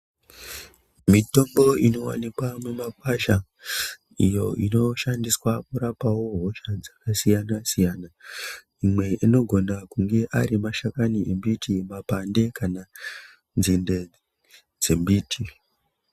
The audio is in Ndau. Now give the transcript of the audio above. Mitombo ino wanikwa mumakwasha iyo ino shandiwsa kurapawo hosha dzakasiyana siyana imwe inogona kunge ari mashakani emiti, mapande, kana nzinde dzembiti.